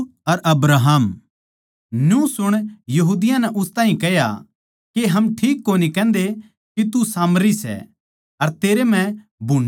न्यू सुण यहूदियाँ नै उस ताहीं कह्या के हम ठीक कोनी कहन्दे के तू सामरी सै अर तेरै म्ह भुन्ड़ी ओपरी आत्मा सै